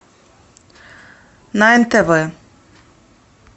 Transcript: на нтв